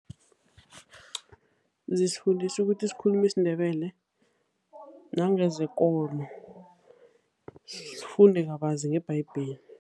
Zisifundisa ukuthi sikhulume isiNdebele nangezekolo, sifunde kabanzi ngebhayibheli.